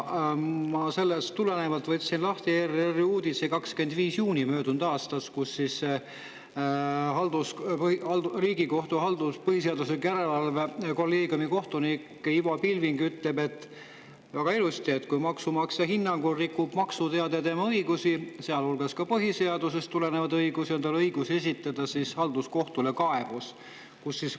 Ma sellest tulenevalt võtsin lahti ERR‑i möödunud aasta 25. juuni uudise, kus Riigikohtu põhiseaduslikkuse järelevalve kolleegiumi kohtunik Ivo Pilving ütleb väga ilusti: "Kui maksumaksja hinnangul rikub maksuteade tema õigusi, sealhulgas ka põhiseadusest tulenevaid õigusi, on tal õigus esitada halduskohtule kaebus.